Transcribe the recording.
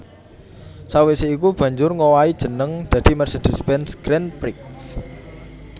Sawisé iku banjur ngowahi jeneng dadi Mercedes Benz Grand Prix